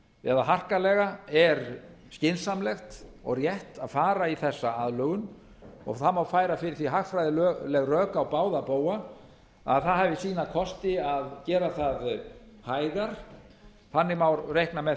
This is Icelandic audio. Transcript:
eða harkalega er skynsamlegt og rétt að fara í þessa aðlögun og það má færa fyrir því hagfræðileg rök á báða bóga að það hafi sína kosti að gera það hægar þannig má reikna með